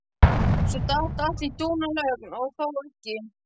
Svo datt allt í dúnalogn og þó ekki.